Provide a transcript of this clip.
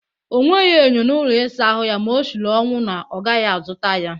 O nweghị enyo n'ụlọ ịsa ahụ ya ma o shiri ọnwụ na ya agaghị azụta ya